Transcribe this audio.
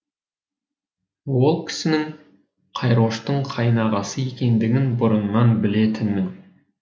ол кісінің қайроштың қайнағасы екендігін бұрыннан білетінмін